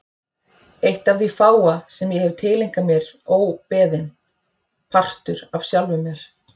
Eitt af því fáa sem ég hef tileinkað mér óbeðinn, partur af sjálfum mér.